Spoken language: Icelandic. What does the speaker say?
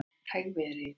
Hægviðri í dag